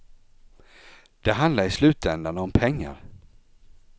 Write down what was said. De handlar i slutändan om pengar.